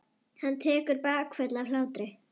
Hann tekur bakföll af hlátri.